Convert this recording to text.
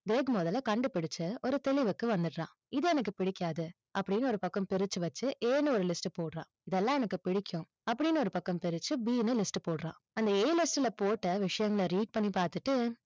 Greg முதல்ல கண்டுபிடிச்சு, ஒரு தெளிவுக்கு வந்துடறான். இது எனக்கு பிடிக்காது, அப்படின்னு ஒரு பக்கம் பிரிச்சு வச்சு a ன்னு ஒரு list போடுறான். இதெல்லாம் எனக்கு பிடிக்கும் அப்படின்னு ஒரு பக்கம் பிரிச்சு b ன்னு list போடுறான். அந்த a list ல போட்ட விஷயங்கள read பண்ணி பாத்துட்டு,